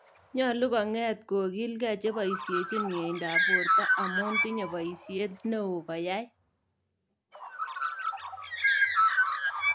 Nyoolu kong�eet kokile ke cheboisyechin myeyindaab boorto amu tinye bayisyeet neo koyaai